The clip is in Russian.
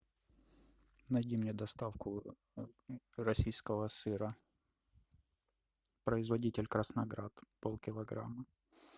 найди мне доставку российского сыра производитель красноград полкилограмма